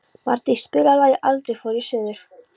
Mardís, spilaðu lagið „Aldrei fór ég suður“.